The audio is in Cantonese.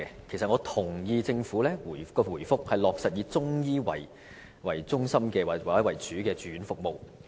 其實我同意政府的答覆，落實以中醫為中心或為主的住院服務。